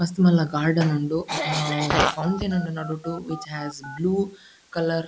ಮಸ್ತ್ ಮಲ್ಲ ಗಾರ್ಡನ್ ಉಂಡು ಹಾ ಒಂಜಿ ಫೌಂಟೇನ್ ಉಂಡು ನಡುಟ್ ವಿಚ್ ಹಾಸ್ ಬ್ಲೂ ಕಲರ್ --